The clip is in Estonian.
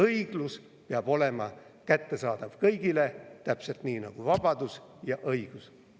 Õiglus peab olema kättesaadav kõigile, täpselt nii nagu vabadus ja õigus.